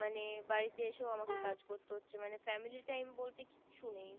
মানে বাড়িতে এসে আমাকে কাজ করতে হচ্ছে মানে family time বলতে কিছু নেই